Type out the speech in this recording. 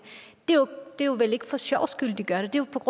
det er vel ikke for sjovs skyld at de gør det det